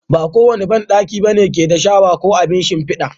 Ba kowanne banɗaki bane yake da shawa ok abin shin fiɗi.